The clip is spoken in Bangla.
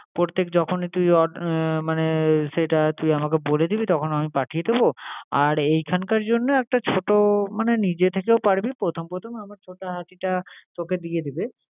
প্রত্যেক যখনই তুই অন আহ মানে সেটা তুই আমাকে বলে দিবি তখন আমি পাঠিয়ে দেবো। আর এইখানকার জন্য একটা ছোট মানে নিতে তো পারবি প্রথম প্রথম আমার ছোটা হাতিটা তোকে দিয়ে দিবে